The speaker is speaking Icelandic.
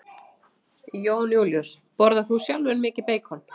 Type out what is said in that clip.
Jón Júlíus: Borðar þú sjálfur mikið beikon?